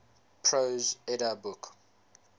prose edda book